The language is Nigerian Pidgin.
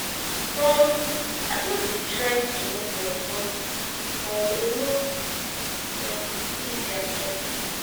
um i just dey try to move on but um e no um easy at all